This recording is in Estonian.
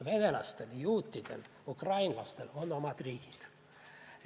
Venelastel, juutidel, ukrainlastel on omad riigid.